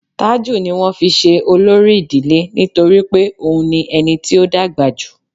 Tájú ní wọn fí se olori idile nitori pe òun ni ení tí ọ dàgbà jú